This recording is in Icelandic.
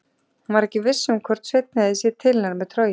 Hún var ekki viss um hvort Sveinn hefði séð til hennar með trogið.